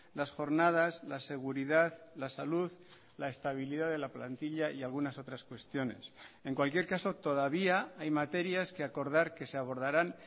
las jornadas la seguridad la salud la estabilidad de la plantilla y algunas otras cuestiones en cualquier caso todavía hay materias que acordar que se abordarán